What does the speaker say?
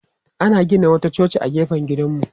Ana gina wata coci a gefen gidanmu.